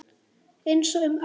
Einsog um árið.